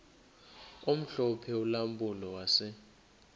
omhlophe ulampulo wase